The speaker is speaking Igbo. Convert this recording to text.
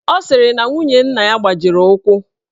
Ọ sịrị na nwunye nna ya gbajiri ụkwụ